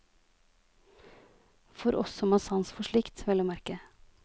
For oss som har sans for slikt, vel å merke.